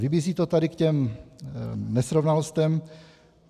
Vybízí to tady k těm nesrovnalostem.